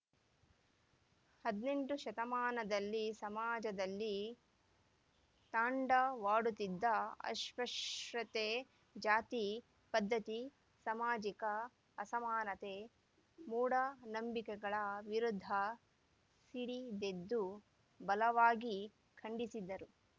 ಹದಿನೆಂಟು ಶತಮಾನದಲ್ಲಿ ಸಮಾಜದಲ್ಲಿ ತಾಂಡ ವಾಡುತ್ತಿದ್ದ ಅಸ್ಪೃಶ್ಯತೆ ಜಾತಿ ಪದ್ಧತಿ ಸಾಮಾಜಿಕ ಅಸಮಾನತೆ ಮೂಢನಂಬಿಕೆಗಳ ವಿರುದ್ಧ ಸಿಡಿದೆದ್ದು ಬಲವಾಗಿ ಖಂಡಿಸಿದರು